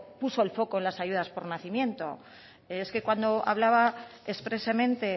puso el foco en las ayudas por nacimiento es que cuando hablaba expresamente